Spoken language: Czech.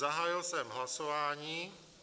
Zahájil jsem hlasování.